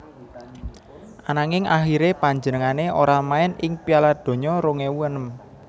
Ananging akhiré panjenengané ora main ing Piala Donya rong ewu enem